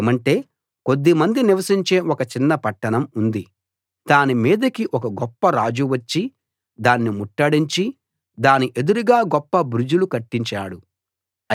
ఏమంటే కొద్దిమంది నివసించే ఒక చిన్న పట్టణం ఉంది దానిమీదికి ఒక గొప్ప రాజు వచ్చి దాన్ని ముట్టడించి దాని ఎదురుగా గొప్ప బురుజులు కట్టించాడు